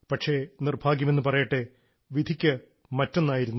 പക്ഷേ നിർഭാഗ്യമെന്നു പറയട്ടെ വിധി മറ്റൊന്നായിരുന്നു